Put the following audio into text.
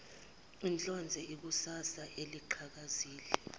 ehlonze ikusasa eliqhakazile